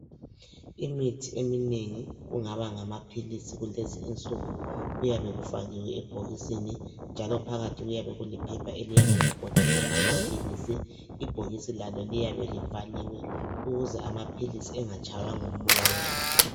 Imithi eminengi kungaba ngamaphilisi kulezi insuku kuyabe kufakiwe ebhokisini njalo phakathi kuyabe kulephepha eliyabe ligoqele amaphilisi. Ibhokisi lalo liyabe livaliwe ukuze amaphilisi engatshaywa ngumoya.